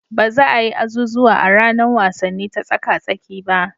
Ba za a yi azuzuwan a ranar wasanni ta tsaka-tsaki ba.